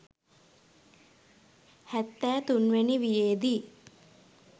හැත්තෑ තුන් වැනි වියේදී